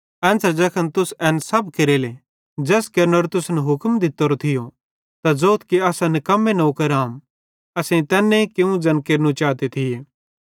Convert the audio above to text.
एन्च़रे ज़ैखन तुस एन सब केरेले ज़ैस केरनेरो तुसन हुक्म दित्तोरो थियो त ज़ोथ कि असां निकम्मे नौकर आम असेईं तैन्ने कियूं ज़ैन केरनू चाते थिये